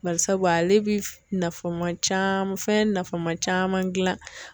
Bari sabu ale bi nafama caman fɛn nafama caman gilan